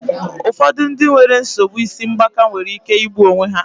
Ụfọdụ ndị nwere nsogbu isi ngbaka nwere ike igbu onwe ha.